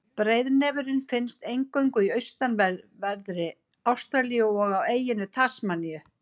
Breiðnefurinn finnst eingöngu í austanverðri Ástralíu og á eyjunni Tasmaníu.